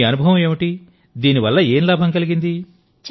ఇప్పుడు మీ అనుభవం ఏంటి దీని వల్ల ఏం లాభం కలిగింది